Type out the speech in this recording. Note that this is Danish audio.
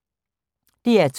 DR2